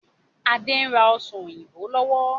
Adé ń rà ọ́ṣán òyìnbó lọ́wọ́.